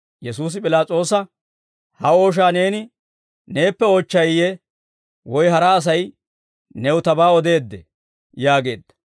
Yesuusi P'ilaas'oosa, «Ha ooshaa neeni neeppe oochchayiyee woy hara Asay new tabaa odeeddee?» yaageedda.